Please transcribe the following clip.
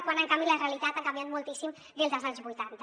quan en canvi la realitat ha canviat moltíssim des dels anys vuitanta